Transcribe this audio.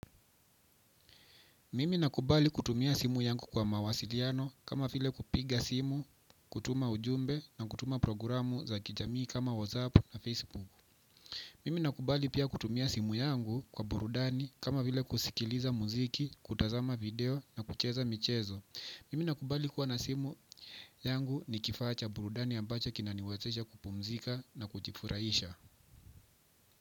Mimi nakubali kutumia simu yangu kwa mawasiliano kama vile kupiga simu, kutuma ujumbe na kutuma programu za kijamii kama WhatsApp na Facebook. Mimi nakubali pia kutumia simu yangu kwa burudani kama vile kusikiliza muziki, kutazama video na kucheza michezo. Mimi nakubali kuwa na simu yangu ni kifaa cha burudani ambacho kinaniwezesha kupumzika na kujifurahisha.